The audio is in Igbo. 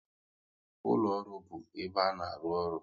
Ụlọ ọrụ bụ ebe a na-arụ ọrụ